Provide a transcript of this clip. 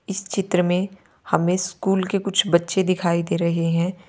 इस चित्र मे हमे स्कूल के कुछ बच्चे दिखाई दे रहे हैं।